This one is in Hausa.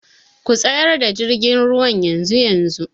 Ku tsayar da jirgin ruwan yanzu-yanzu!.